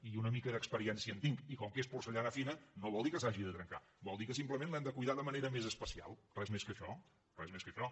i una mica d’experiència hi tinc i com que és porcellana fina no vol dir que s’hagi de trencar vol dir que simplement l’hem de cuidar de manera més especial res més que això res més que això